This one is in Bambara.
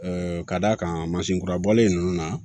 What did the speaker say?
ka d'a kan mansin kura bɔlen ninnu na